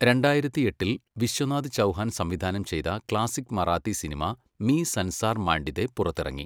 രണ്ടായിരത്തിയെട്ടിൽ വിശ്വനാഥ് ചൗഹാൻ സംവിധാനം ചെയ്ത ക്ലാസിക് മറാത്തി സിനിമ മീ സൻസാർ മാണ്ടിതെ പുറത്തിറങ്ങി.